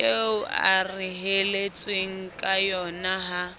eo a reheletsweng kayona ha